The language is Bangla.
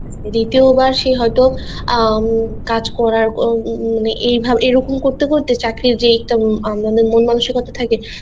বা সে হয়তো বা অ্যাঁ কাজকরার উম এই ভাবে এরকম করতে করতে চাকরির যে উম মন মানষিকতা থাকে